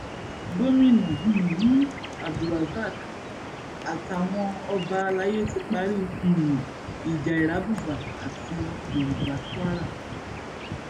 gomina um abdulrasaq àtàwọn ọba alay ti parí um ìjà irábùbà àti yorùbá kwara